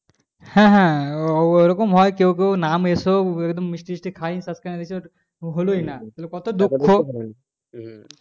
হ্যাঁ হ্যাঁ ওরকম হয় কেউ কেউ নাম এসেও একদম মিষ্টি ফিসটি খাইয়ে তারপরে দেখলো ওর হলই না তাহলে কত দুঃখ